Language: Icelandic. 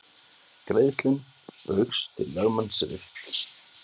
Greiðslum Baugs til lögmanns rift